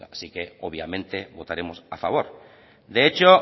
así que obviamente votaremos a favor de hecho